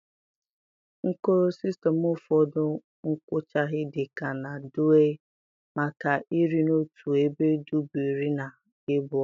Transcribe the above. Nkoro System Ụfọdụ nkwughachi dị ka na Duu-ee maka iri na otu ebe Duu bụ iri na ee bụ otu.